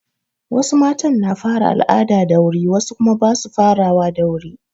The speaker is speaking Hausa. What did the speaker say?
Wasu matan na fara al'ada da wuri wasu kuma ba su farawa da wuri.